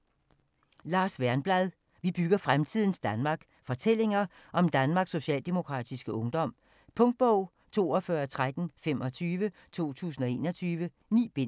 Wernblad, Lars: Vi bygger fremtidens Danmark: Fortællinger om Danmarks Socialdemokratiske Ungdom Punktbog 421325 2021. 9 bind.